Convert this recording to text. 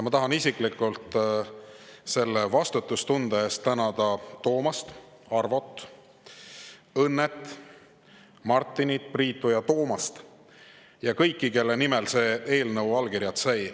Ma tahan isiklikult selle vastutustunde eest tänada Toomast, Arvot, Õnnet, Martinit, Priitu ja Toomast ja kõiki, kelle nimel see eelnõu allkirjad sai.